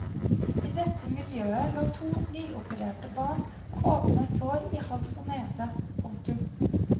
I dette miljøet lå to nyopererte barn med åpne sår i hals og nese. punktum